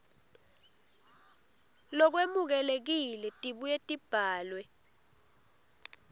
lolwemukelekile tibuye tibhalwe